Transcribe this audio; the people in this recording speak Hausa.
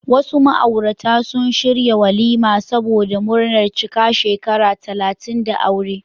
Wasu ma'aurata sun shirya walima saboda murnar cika shekara talatin da aure.